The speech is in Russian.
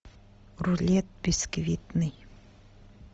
рулет бисквитный